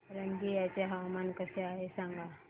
रंगिया चे हवामान कसे आहे सांगा